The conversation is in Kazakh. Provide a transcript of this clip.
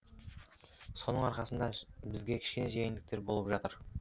соның арқасында бізге кішкене жеңілдіктер болып жатыр